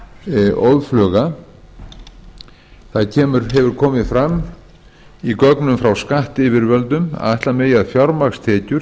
breytast óðfluga það hefur komið fram í gögnum frá skattyfirvöldum að ætla megi að fjármagnstekjur